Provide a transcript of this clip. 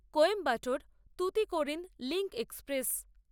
Coimbatore Tuticorin link express